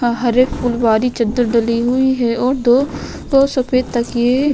हा हरे फूलवारी चद्दर डली हुई है और दो दो सफेद तकिये --